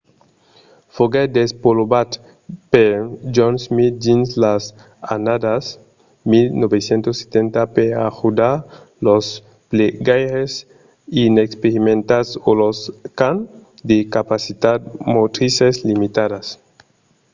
foguèt desvolopat per john smith dins las annadas 1970 per ajudar los plegaires inexperimentats o los qu'an de capacitat motrises limitadas